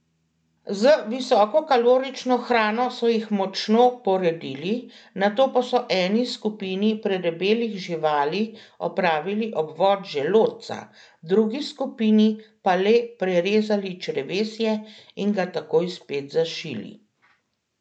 Z visokokalorično hrano so jih močno poredili, nato pa so eni skupini predebelih živali opravili obvod želodca, drugi skupini pa le prerezali črevesje in ga takoj spet zašili.